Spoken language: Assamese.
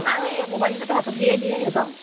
আৰু mobile কেইটা তো হাতত দিয়েই দিয়ে সিহঁতক